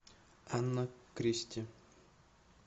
анна кристи